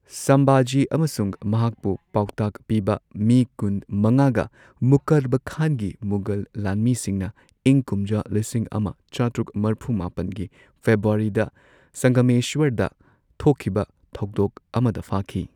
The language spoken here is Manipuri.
ꯁꯝꯚꯥꯖꯤ ꯑꯃꯁꯨꯡ ꯃꯍꯥꯛꯄꯨ ꯄꯥꯎꯇꯥꯛ ꯄꯤꯕ ꯃꯤ ꯀꯨꯟ ꯃꯉꯥꯒ ꯃꯨꯛꯀꯔꯕ ꯈꯥꯟꯒꯤ ꯃꯨꯘꯜ ꯂꯥꯟꯃꯤꯁꯤꯡꯅ ꯢꯪ ꯀꯨꯝꯖꯥ ꯂꯤꯁꯤꯡ ꯑꯃ ꯆꯥꯇ꯭ꯔꯨꯛ ꯃꯔꯐꯨ ꯃꯥꯄꯟꯒꯤ ꯐꯦꯕ꯭ꯔꯨꯋꯥꯔꯤꯗ ꯁꯪꯒꯃꯦꯁ꯭ꯋꯔꯗ ꯊꯣꯛꯈꯤꯕ ꯊꯧꯗꯣꯛ ꯑꯃꯗ ꯐꯥꯈꯤ꯫